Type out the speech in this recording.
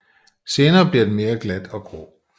Senere bliver den mere glat og grå